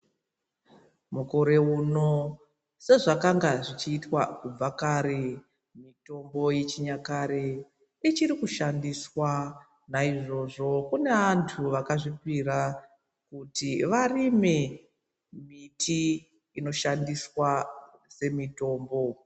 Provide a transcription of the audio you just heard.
Mukore uno sezvakanga zvichiitwa kubva kare mitombo yechinyakare ichiri kushandiswa naizvozvo kune vantu vakazvipira kuti varime mbiti inoshandiswa semitombo.